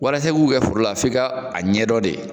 Walasa i k'u kɛ forola f'i ka a ɲɛdɔn de .